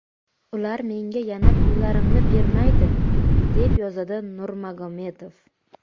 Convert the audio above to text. Ular menga yana pullarimni bermaydi”, deb yozadi Nurmagomedov.